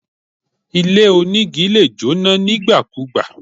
Ilé onígi lè jóná nígbàkugbà